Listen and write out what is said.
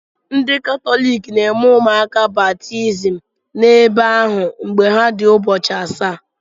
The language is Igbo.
Ndị Katọlik na-eme ụmụaka baptizim n'ebe ahụ mgbe ha dị ụbọchị asaa.